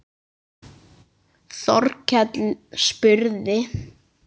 Þórkell spurði